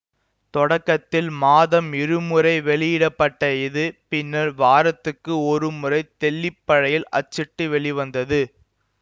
தொடக்கத்தில் மாதம் இருமுறை வெளியிட பட்ட இது பின்னர் வாரத்துக்கு ஒரு முறை தெல்லிப்பழையில் அச்சிட்டு வெளிவந்தது